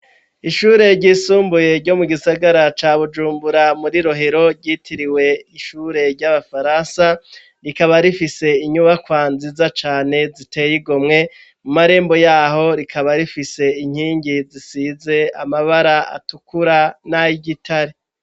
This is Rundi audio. Ishure ry'isumbuye ryo mu gisagara ca Bujumbura muri Rohero ryitiriwe ishure ry'abafaransa rikaba rifise inyubakwa nziza cane ziteye igomwe mu marembo yaho rikaba rifise inkingi zisize amabara atukura n'ayigitare.